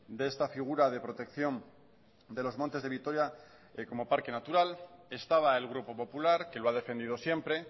de esta figura de protección de los montes de vitoria como parque natural estaba el grupo popular que lo ha defendido siempre